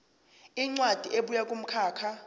incwadi ebuya kumkhakha